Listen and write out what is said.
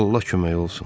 Allah kömək olsun.